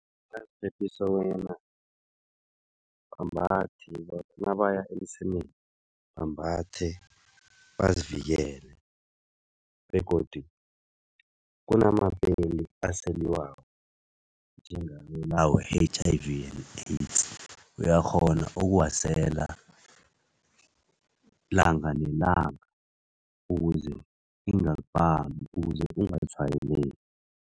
Bangaziphephisa bonyana ambathe. Lokha nabaya emsemeni bambathe, bazivikele begodu kunamapeli aseliwako we-H_I_V, AIDS. Uyakghona ukuwasela langa nelanga ukuze ingakubambi ukuze ungatshwayeleki.